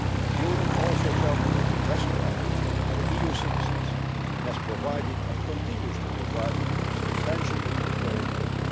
The Union also coordinated rescue efforts for EU citizens and has provided, and continues to provide, substantial humanitarian